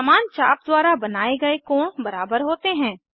समान चाप द्वारा बनाये गए कोण बराबर होते हैं